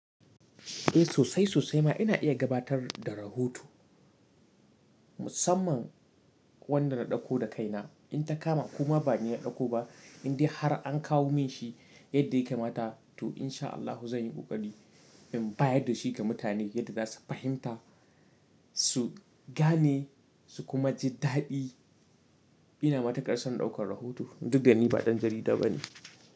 Eh sosai sosai ma ina iya gabatar da rahoto musamman wanda na ɗauko da kaina in ta kama kuma ba ni ya ɗauko ba in dai har an kawo min shi yadda ya kamata to in sha Allahu zan yi ƙoƙari in bayar da shi ga mutane yadda za su fahimta su gane su kuma ji daɗi. Ina matukar son ɗaukar rahoto duk da ni ba ɗan jarida ba ne.